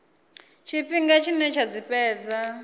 tshifhinga tshine dza tshi fhedza